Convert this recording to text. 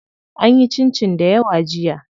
An yi cincin dayawa jiya.